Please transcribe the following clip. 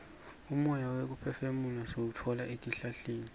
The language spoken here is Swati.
umoya wekuphefumula siwutfola etihlahleni